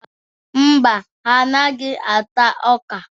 Mba, ha anaghị ata ọ́kà.